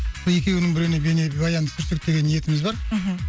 екеуінің біреуіне бейнебаян түсірсек деген ниетіміз бар мхм